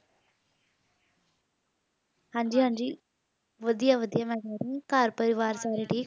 ਹਾਂਜੀ ਹਾਂਜੀ ਵਧੀਆ ਵਧੀਆ ਮੈਂ ਕਹਿ ਰਹੀ ਆ ਘਰ ਪਰਿਵਾਰ ਸਾਰੇ ਠੀਕ